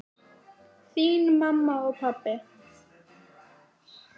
Þín mamma og pabbi.